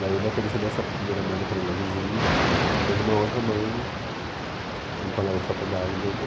Daí o baterista dessa primeira banda, que era o meu vizinho, fez uma outra banda t com um colega de faculdade dele.